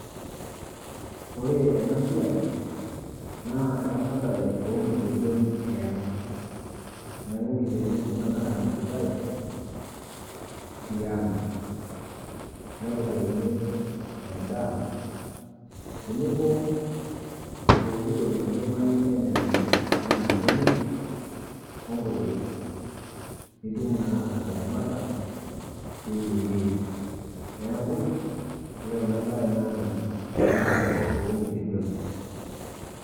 Ore ena siai naa eramatare oonkitejon eang'. Neaku nkitejon kina naaramatitai tiang' nepikakini endaa tenebo pooki toki naidimayu nenya ninche anaa mbenek onkujit pitum naa ataramata teinewuei. Neaku, ore enabaye naa eramatare oonkitejon.